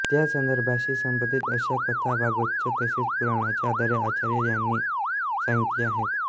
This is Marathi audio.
त्या संदर्भांशी संबंधित अशा कथा भागवताच्या तसेच पुराणाच्या आधारे आचार्य यांनी सांगितल्या आहेत